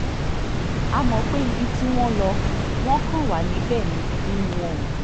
a mọ̀ pé ibi tí wọ́n lò wọ́n kàn wà níbẹ̀ ni inú wọn ò dùn